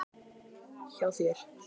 Blaðamaður: Er ekkert til í þessu?